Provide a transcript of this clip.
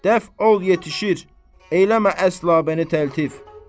Dəf ol, yetişir, eləmə əsla bəni təltif.